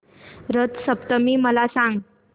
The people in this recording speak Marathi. रथ सप्तमी मला सांग